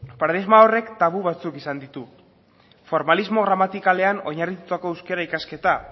paradigma horrek tabu batzuk izan ditu formalismo gramatikalean oinarritutako euskara ikasketa